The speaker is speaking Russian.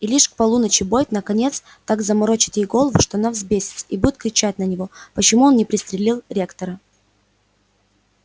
и лишь к полуночи бойд наконец так заморочит ей голову что она взбесится и будет кричать на него почему он не пристрелил ректора